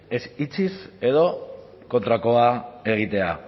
ez itxiz edo kontrakoa egitea